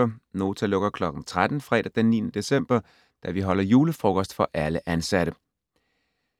Nota lukker kl. 13 fredag den 9. december, da vi holder julefrokost for alle ansatte.